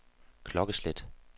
klokkeslæt